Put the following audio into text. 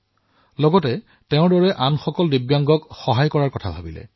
লগতে এয়াও সিদ্ধান্ত গ্ৰহণ কৰিলে যে তেওঁ নিজৰ দৰে দিব্যাংগ লগৰীয়াসকলকো সহায় কৰিব